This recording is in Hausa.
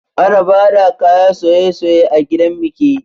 Ana bada kayan soye-soye a gidan biki